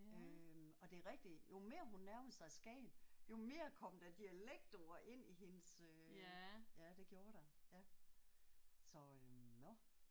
Øh og det er rigtigt jo mere hun nærmede sig Skagen jo mere kom der dialektord ind i hendes øh ja det gjorde der ja så øh nåh